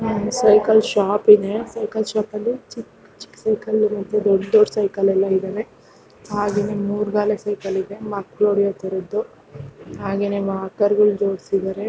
Cycle shop ಇದೆ cycle shop ಅಲ್ಲಿ ಚಿಕ್ಕ ಚಿಕ್ಕ ಸೈಕಲ್ ಮತ್ತೆ ದೊಡ್ಡ ದೊಡ್ಡ ಸೈಕಲ್ ಎಲ್ಲಾ ಇದ್ದವೆ ಹಾಗೇನೇ ಮೂರು ಗಾಲಿ ಸೈಕಲ್ ಇದೆ ಮಕ್ಕಳು ಹೊಡಿಯೊತರಹದು ಹಾಗೇನೇ ವಾಕರ್ಗಳು ಜೋಡಿಸಿದ್ದಾರೆ.